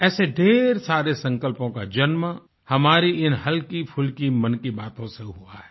ऐसे ढ़ेर सारे संकल्पों का जन्म हमारी इन हल्कीफुल्की मन की बातों से हुआ है